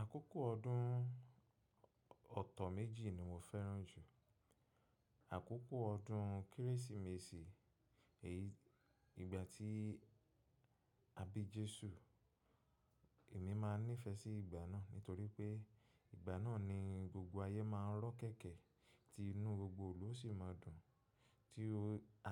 Àkókò ọdún ọ̀tọ̀ méjì ni mo fẹ́ràn jù. Àkókò ọdún Kérésìmesì, èyí ìgbà tí a bí Jésù. Èmi máa nífẹ̀ẹ́ sí ìgbà náà nítorí pé ìgbà náà ni gbogbo ayé máa rọ́ kẹ̀kẹ́ tí inú gbogbo ìlú ó sì máa dùn. Tí o